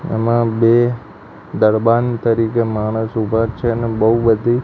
આમાં બે દરબાણ તરીકે માણસ ઊભા છે ને બઉ બધી--